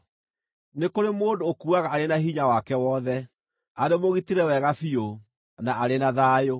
Nĩ kũrĩ mũndũ ũkuuaga arĩ na hinya wake wothe, arĩ mũgitĩre wega biũ, na arĩ na thayũ,